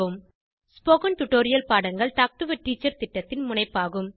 spoken tutorial பாடங்கள் talk to a teacher திட்டத்தின் முனைப்பாகும்